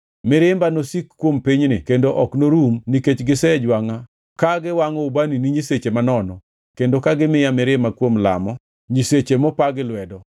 Mirimba nosik kuom pinyni kendo ok norum nikech gisejwangʼa ka giwangʼo ubani ne nyiseche manono kendo ka gimiya mirima kuom lamo nyiseche mopa gi lwedo.’